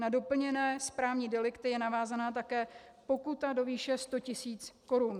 Na doplněné správní delikty je navázána také pokuta do výše 100 tisíc korun.